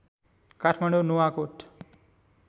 Kathmandu Nuwakot